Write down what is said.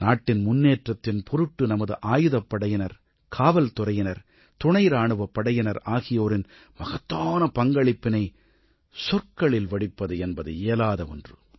நாட்டின் முன்னேற்றத்தின் பொருட்டு நமது ஆயுதப்படையினர் காவல்துறையினர் துணை இராணுவப் படையினர் ஆகியோரின் மகத்தான பங்களிப்பினை சொற்களில் வடிப்பது என்பது இயலாத ஒன்று